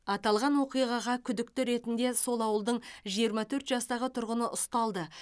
аталған оқиғаға күдікті ретінде сол ауылдың жиырма төрт жастағы тұрғыны ұсталды